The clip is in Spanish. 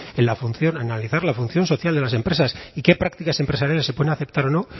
en analizar la función social de las empresas y qué prácticas empresariales se pueden aceptar o no